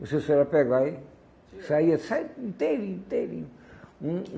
Você só ia pegar e saía saía inteirinho, inteirinho. Um